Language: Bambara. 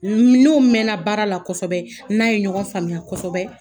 N n'o mɛnna baara la kosɔbɛ, n n'a ye ɲɔgɔn faamuya kosɔbɛ